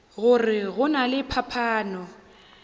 gore go na le phapano